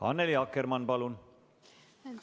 Annely Akkermann, palun!